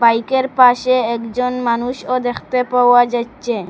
বাইকের পাশে একজন মানুষও দ্যেখতে পাওয়া যাচচে।